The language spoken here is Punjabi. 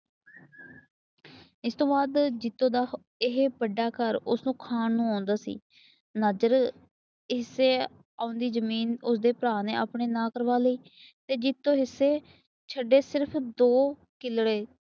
ਇਸ ਤੋਂ ਬਾਅਦ ਜੀਤੋ ਦਾ ਇਹ ਵੱਡਾ ਘਰ ਉਸਨੂੰ ਖਾਣ ਨੂੰ ਆਉਂਦਾ ਸੀ। ਨਾਜਰ ਹਿੱਸੇ ਆਉਂਦੀ ਜਮੀਨ ਉਸਦੇ ਭਰਾ ਨੇ ਆਪਣੇ ਆ ਕਰਵਾ ਲਈ। ਤੇ ਜੀਤੋ ਹਿੱਸੇ ਛੱਡੇ ਸਿਰਫ ਦੋ ਕਿੱਲੇ।